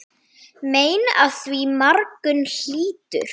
Mein af því margur hlýtur.